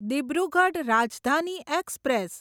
Dibrugarh Rajdhani express